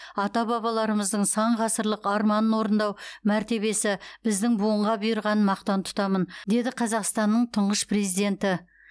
ата бабаларымыздың сан ғасырлық арманын орындау мәртебесі біздің буынға бұйырғанын мақтан тұтамын деді қазақстанның тұңғыш президенті